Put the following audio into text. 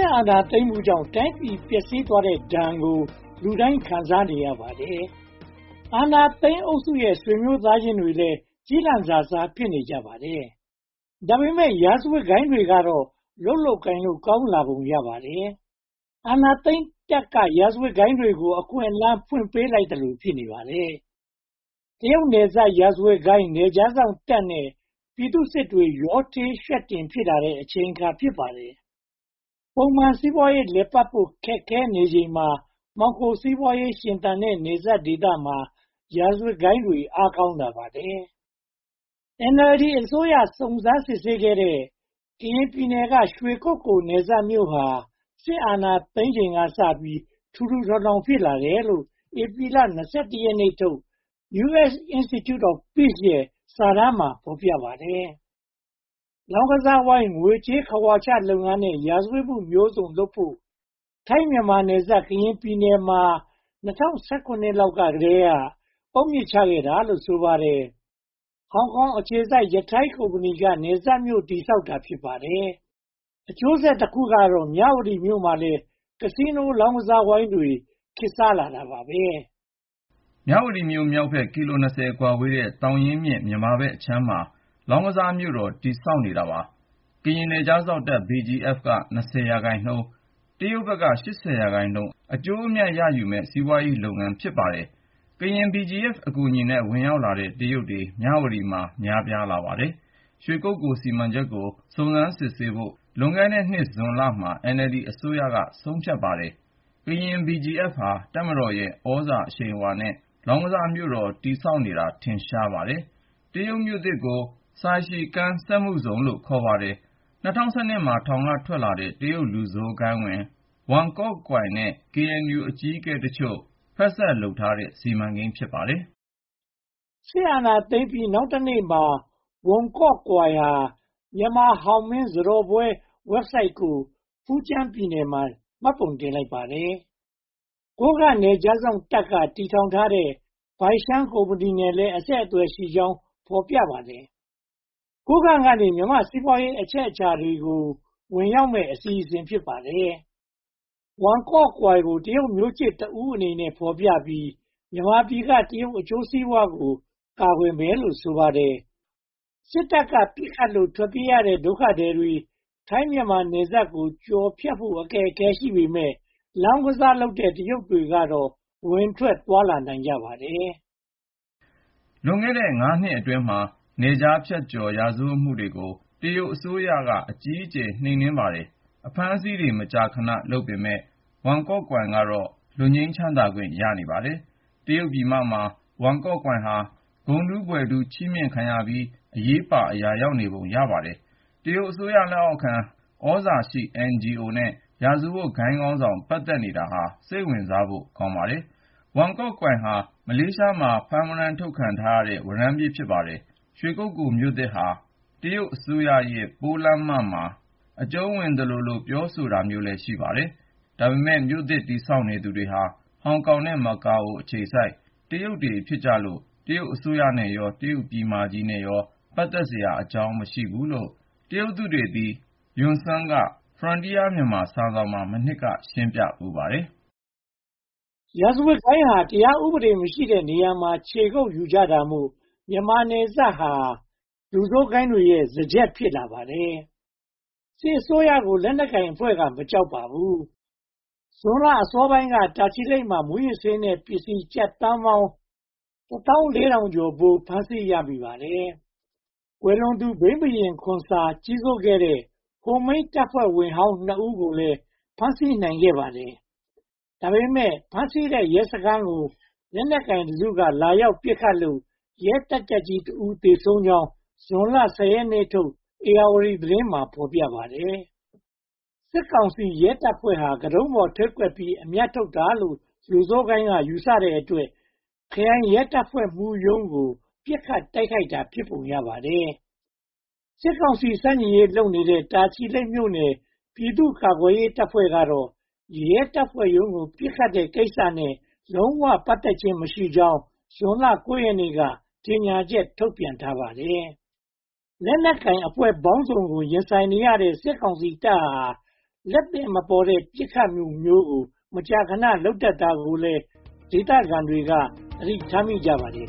အာဏာသိမ်းမှုကြောင့် တိုင်းပြည်ပျက်စီးသွားတဲ့ဒဏ်ကို လူတိုင်းခံစားနေရပါတယ်။ အာဏာသိမ်းအုပ်စုရဲ့ ဆွေမျိုးသားချင်းတွေလည်း ကျီလန့်စာစား ဖြစ်နေကြပါတယ်။ ဒါပေမဲ့ ရာဇဝတ်ဂိုဏ်းတွေကတော့ လုပ်လို့ကိုင်လို့ ကောင်းလာကြပုံရပါတယ်။ အာဏာသိမ်းတပ်က ရာဇဝတ်ဂိုဏ်းသားတွေကို အခွင့်အလမ်း ဖွင့်ပေးလိုက်သလို ဖြစ်နေပါတယ်။ တရုတ်နယ်စပ် ရာဇဝတ်ဂိုဏ်း၊ နယ်ခြားစောင့်တပ်နဲ့ ပြည်သူ့စစ်တွေ ရောထွေးယှက်တင်လာတဲ့ အချိန်အခါ ဖြစ်ပါတယ်။ ပုံမှန်စီးပွားရေးလည်ပတ်ဖို့ ခက်ခဲနေချိန်မှာ မှောင်ခိုစီးပွားရေး ရှင်သန်တဲ့ နယ်စပ်ဒေသမှာ ရာဇဝတ်ဂိုဏ်သားတွေ အားကောင်းလာပါတယ်။ NLD အစိုးရ စုံစမ်းစစ်ဆေးခဲ့တဲ့ ကရင်ပြည်နယ်က ရွှေကုက္ကိုလ်နယ်စပ်မြို့ဟာ စစ်အာဏာသိမ်းချိန်ကစပြီး ထူထူထောင်ထောင် ဖြစ်လာတယ်လို့ ဧပြီလ (၂၁) ရက်နေ့ထုတ် US Institute of Peace ရဲ့ စာတမ်းမှာ ဖော်ပြထားပါတယ်။ လောင်းကစားဝိုင်း၊ ငွေကြေးခဝါချလုပ်ငန်းနဲ့ ရာဇဝတ်မှုမျိုးစုံလုပ်ဖို့ ထိုင်း-မြန်မာနယ်စပ် ကရင်ပြည်နယ်မှာ ၂၀၁၇ လောက်ကတည်းက အုတ်မြစ်ချခဲ့တာလို့ ဆိုပါတယ်။ ဟောင်ကောင်အခြေစိုက် ယထိုင်း (Yatai) ကုမ္ပဏီက နယ်စပ်မြို့ တည်ဆောက်တာ ဖြစ်ပါတယ်။ အကျိုးဆက်တခုကတော့ မြဝတီမြို့မှာလည်း ကစီးနိုး လောင်းကစားဝိုင်းတွေ ခေတ်စားလာတာပါပဲ။ မြဝတီမြို့မြောက်ဘက် ကီလို (၂၀) ကွာဝေးတဲ့ သောင်ရင်းမြစ် မြန်မာဘက်ကမ်းမှာ လောင်းကစားမြို့ တည်ဆောက်နေတာပါ။ ကရင်နယ်ခြားစောင့်တပ် BGF (Border Guard Force) က (၂၀) ရာခိုင်နှုန်း တရုတ်ဘက်က (၈၀) ရာခိုင်နှုန်း အကျိုးအမြတ် ရယူမယ့် စီးပွားရေးလုပ်ငန်း ဖြစ်ပါတယ်။ ကရင် BGF အကူအညီနဲ့ ဝင်ရောက်လာတဲ့ တရုတ်တွေ မြဝတီမှာ များပြားလာပါတယ်။ ရွှေကုက္ကိုလ်စီမံချက်ကို စုံစမ်းစစ်ဆေးဖို့ လွန်ခဲ့တဲ့နှစ် ဇွန်လမှာ NLD အစိုးရက ဆုံးဖြတ်ပါတယ်။ ကရင် BGF ဟာ တပ်မတော်ရဲ့ သြဇာအရှိန်အဝါနဲ့ လောင်းကစားမြို့တော် တည်ဆောက်နေတာ ထင်ရှားပါတယ်။ တရုတ်မြို့သစ်ကို ဆိုင်ရှီကန်း Saixigang စက်မှုဇုန်လို့လည်း ခေါ်ပါတယ်။ ၂၀၁၂ မှာ ထောင်ကထွက်လာတဲ့ တရုတ်လူဆိုးဂိုဏ်းဝင် ဝမ်ကော့ကွိုင် Wan Kuok-Kui နဲ့ KNU အကြီးအကဲအချို့ ဖက်စပ်လုပ်ထားတဲ့ စီမံကိန်း ဖြစ်ပါတယ်။ စစ်အာဏာသိမ်းပြီး နောက်တနေ့မှာ ဝမ်ကော့ကွိုင်ဟာ မြန်မာဟောင်းမင့် (Hongmen) စားတော်ပွဲ Website ကို ဖူကျမ်းပြည်နယ်မှာ မှတ်ပုံတင်လိုက်ပါတယ်။ ကိုးကန့်နယ်ခြားစောင့်တပ်က တည်ထောင်ထားတဲ့ ဘိုင်ရှန်းကုမ္ပဏီနဲ့လည်း အဆက်အသွယ်ရှိကြောင်း ဖော်ပြပါတယ်။ ကိုးကန့်ကနေ မြန်မာ့စီးပွားရေး အချက်အချာနေရာတွေကို ဝင်ရောက်မယ့် အစီအစဉ် ဖြစ်ပါတယ်။ ဝမ်ကော့ကွိုင်ကို တရုတ်မျိုးချစ်တဦးအနေနဲ့ ဖော်ပြပြီး မြန်မာပြည်က တရုတ်အကျိုးစီးပွားကို ကာကွယ်မယ်လို့ ဆိုပါတယ်။ စစ်တပ်က ပစ်ခတ်လို့ ထွက်ပြေးရတဲ့ဒုက္ခသည်တွေ ထိုင်း-မြန်မာ နယ်စပ်ကို ကျော်ဖြတ်ဖို့ အခက်အခဲ ရှိပေမယ့် လောင်းကစားလုပ်တဲ့ တရုတ်ကတော့ ဝင်ထွက်သွားလာနိုင်ကြပါတယ်။ လွန်ခဲ့တဲ့ (၅) နှစ်အတွင်းမှာ နယ်ခြားဖြတ် ရာဇဝတ်မှုတွေကို တရုတ်အစိုးရ အကြီးအကျယ် နှိမ်နင်းပါတယ်။ အဖမ်းအဆီးတွေ မကြာခဏ လုပ်ပေမယ့်၊ ဝမ်ကော့ကွိုင်ကတော့ လွတ်ငြိမ်းချမ်းသာခွင့် ရနေပါတယ်။ တရုတ်ပြည်မမှာ ဝမ်ကော့ကွိုင်ဟာ ဂုဏ်ထူးဘွဲ့ထူး ချီးမြှင့်ခံရပြီး အရေးပါအရာရောက်နေပုံ ရပါတယ်။ တရုတ်အစိုးရလက်အောက်ခံ သြဇာရှိ NGO နဲ့ ရာဇဝတ်ဂိုဏ်းခေါင်းဆောင် ပတ်သက်နေတာဟာ စိတ်ဝင်စားဖို့ ကောင်းပါတယ်။ ဝမ်ကော့ကွိုင်ဟာ မလေးရှားမှာ ဖမ်းဝရမ်းထုတ်ခံထားရတဲ့ ဝရမ်းပြေးပါ။ ရွှေကုက္ကိုလ်မြို့သစ်ဟာ တရုတ်အစိုးရရဲ့ ပိုးလမ်းမမှာ အကြုံးဝင်သလိုလို ပြောဆိုတာမျိုးလည်း ရှိပါတယ်။ ဒါပေမဲ့ မြို့သစ်တည်နေသူတွေဟာ ဟောင်ကောင်နဲ့ မကာအို အခြေစိုက် တရုတ်တွေဖြစ်လို့ တရုတ်အစိုးရနဲ့ရော တရုတ်ပြည်မကြီးနဲ့ရော ပတ်သက်စရာအကြောင်း မရှိဘူးလို့ တရုတ်သုတေသီ ယွန့်စွန်က Frontier Myanmar စာစောင်မှာ မနှစ်က ရှင်းပြဖူးပါတယ်။ ရာဇဝတ်ဂိုဏ်းဟာ တရားဥပဒေ မရှိတဲ့နေရာမှာ ခြေကုပ်ယူကြတာမို့ မြန်မာနယ်စပ်ဒေသဟာ လူဆိုးဂိုဏ်းတွေရဲ့ စားကျက် ဖြစ်လာပါတယ်။ စစ်အစိုးရကို လက်နက်ကိုင်အဖွဲ့က မကြောက်ပါဘူး။ ဇွန်လအစောပိုင်းက တာချီလိတ်မှာ မူးယစ်ဆေးနဲ့ ပစ္စည်းကျပ်သန်းပေါင်း (၁၄,၃၆၆) ဖိုး ဖမ်းဆီးရမိပါတယ်။ ကွယ်လွန်သူ ဘိန်းဘုရင် ခွန်ဆာ ကြီးစိုးခဲ့တဲ့ ဟိုမိန်းတပ်ဖွဲ့ဝင်ဟောင်း နှစ်ဦးကိုလည်း ဖမ်းဆီးနိုင်ခဲ့ပါတယ်။ ဒါပေမဲ့ ဖမ်းဆီးခဲ့တဲ့ ရဲစခန်းကို လက်နက်ကိုင်တစု လာရောက်ပစ်ခတ်လို့ ရဲတပ်ကြပ်ကြီး (၁) ဦိး သေဆုံးကြောင်း ဇွန်လ (၁၀) ရက်နေ့ထုတ် ဧရာဝတီသတင်းမှာ ဖော်ပြပါတယ်။ စစ်ကောင်စီရဲတပ်ဖွဲ့ဟာ ခေါင်းတုံးပေါ်ထိပ်ကွက်ပြီး အမြတ်ထုတ်တာလို့ လူဆိုးဂိုဏ်းက ယူဆတဲ့အတွက် ခရိုင်ရဲတပ်ဖွဲ့မှူးရုံးကို ပစ်ခတ်တိုက်ခိုက်တာ ဖြစ်ပုံရပါတယ်။ စစ်ကောင်စီ ဆန့်ကျင်ရေးလုပ်နေတဲ့ တာချီလိတ်မြို့နယ် ‘ပြည်သူ့ကာကွယ်ရေးတပ်ဖွဲ့’ ကတော့ ရဲတပ်ဖွဲ့ရုံးကို ပစ်ခတ်တဲ့ကိစ္စနဲ့ လုံးဝပတ်သက်ခြင်းမရှိကြောင်း ဇွန်လ (၉) ရက်နေ့က ကြေညာချက်ထုတ်ပြန်ထားပါတယ်။ လက်နက်ကိုင်အဖွဲ့ပေါင်းစုံကို ရင်ဆိုင်နေရတဲ့ စစ်ကောင်စီတပ်ဟာ လက်သည်မပေါ်တဲ့ ပစ်ခတ်မှုမျိုးကို မကြာခဏ လုပ်တတ်တာကိုလည်း ဒေသခံတွေ သတိထားမိကြပါတယ်